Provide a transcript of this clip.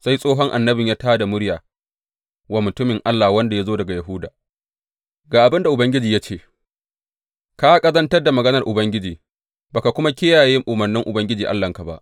Sai tsohon annabin ya tā da murya wa mutumin Allah wanda ya zo daga Yahuda, Ga abin da Ubangiji ya ce, Ka ƙazantar da maganar Ubangiji, ba ka kuma kiyaye umarnin Ubangiji Allahnka ba.